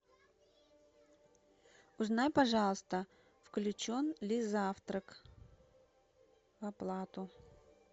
узнай пожалуйста включен ли завтрак в оплату